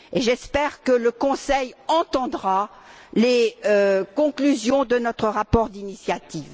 J'espère que le Conseil entendra les conclusions de notre rapport d'initiative.